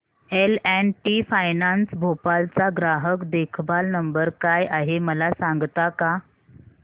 L and T finance Bhopal चा ग्राहक देखभाल नंबर काय आहे मला सांगता का